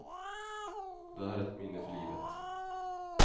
Det här är ett minne för livet.